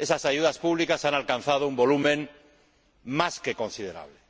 han alcanzado un volumen más que considerable.